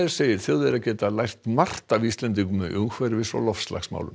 segir Þjóðverja geta lært margt af Íslendingum í umhverfis og loftslagsmálum